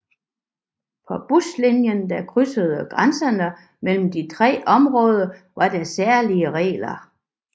På buslinjer der krydsede grænserne mellem de tre områder var der særlige regler